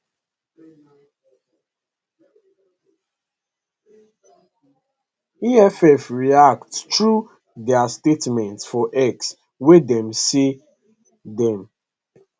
eff react through dia statement for x wia dem say dem